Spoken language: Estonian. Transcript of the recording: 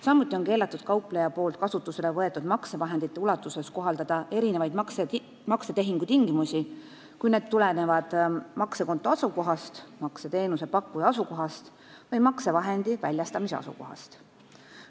Samuti on keelatud kaupleja poolt kasutusele võetud maksevahendite ulatuses kohaldada erinevaid maksetehingutingimusi, kui need tulenevad maksekonto asukohast, makseteenuse pakkuja asukohast või maksevahendi väljastamise asukohast.